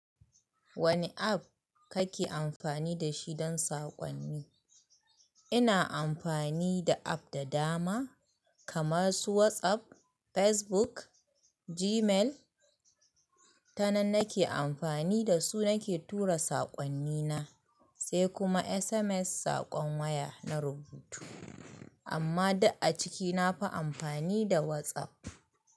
Wane app kake amfani da shi don saƙonni? Ina amfani da app da dama kamar su WhatsApp, Facebook, Gmail. Ta nan nake amfani da su nake tura saƙonnina, sai kuma SMS saƙon waya na rubutu. Amma duk a ciki na fi amfani da WhatsApp.